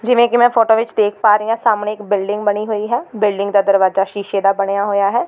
ਜਿਵੇਂ ਕਿ ਮੈਂ ਫੋਟੋ ਵਿਚ ਦੇਖ ਪਾ ਰਹੀਂ ਹਾਂ ਸਾਹਮਣੇ ਇੱਕ ਬਿਲਡਿੰਗ ਬਣੀ ਹੋਈ ਹੈ ਬਿਲਡਿੰਗ ਦਾ ਦਰਵਾਜ਼ਾ ਸ਼ੀਸ਼ੇ ਦਾ ਬਣਿਆ ਹੋਇਆ ਹੈ।